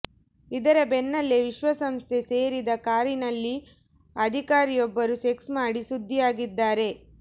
ಇದರ ಬೆನ್ನಲ್ಲೇ ವಿಶ್ವಸಂಸ್ಥೆ ಸೇರಿದ ಕಾರಿನಲ್ಲಿ ಅಧಿಕಾರಿಯೊಬ್ಬರು ಸೆಕ್ಸ್ ಮಾಡಿ ಸುದ್ದಿಯಾಗಿದ್ದಾರೆ